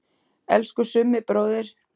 Elsku Summi bróðir.